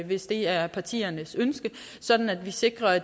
hvis det er partiernes ønske sådan at vi sikrer at